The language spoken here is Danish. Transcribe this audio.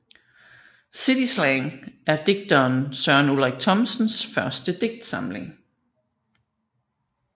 City slang er digteren Søren Ulrik Thomsens første digtsamling